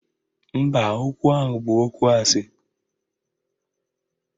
Mba, okwu ahụ bụ okwu asị